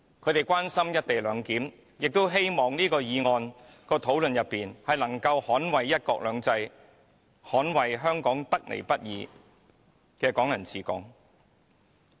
他們關心"一地兩檢"，亦希望議員能夠在這項議案辯論中捍衞"一國兩制"，捍衞香港得來不易的"港人治港"。